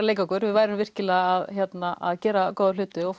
leika okkur við værum virkilega að gera góða hluti og